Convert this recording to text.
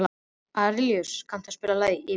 Arilíus, kanntu að spila lagið „Yfirgefinn“?